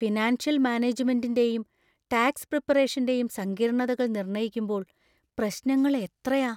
Financial മാനേജുമെന്‍റിന്‍റെയും tax പ്രിപ്പറേഷന്‍റെയും സങ്കീർണ്ണതകൾ നിർണയിക്കുമ്പോൾ പ്രശ്നങ്ങൾ എത്രയാ!